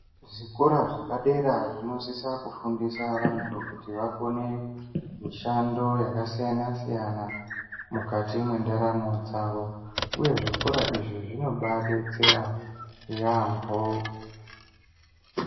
Zvikoro zvepadera zvinosisa kufundisa vantu kuti vakone mishando yakasiyana -siyana mukati mwendaramo dzavo uye zvikora izvi zvinobadetsera yaamho.